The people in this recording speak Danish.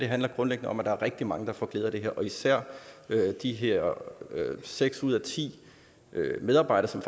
handler grundlæggende om at der er rigtig mange der får glæde af det her især de her seks ud af ti medarbejdere som